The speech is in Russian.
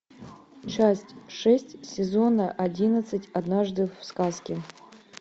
часть шесть сезона одиннадцать однажды в сказке